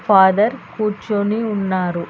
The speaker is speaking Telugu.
ఫాదర్ కూర్చొని ఉన్నారు.